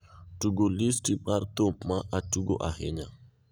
tugo listi mar thum ma atugo ahinya